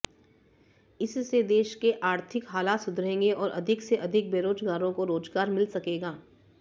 इससे देश के आर्थिक हालात सुधरेंगे और अधिक से अधिक बेरोजगारों को रोजगार मिल सकेगा